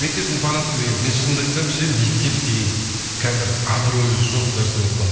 мектептің фанатымын деген мен шынымды айтсам ше мектеп деген қазір абыройы жоқ нәрсе болып қалды